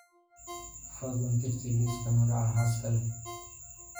fadlan tirtir liiska magaca xaaska leh